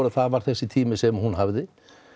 það var þessi tími sem hún hafði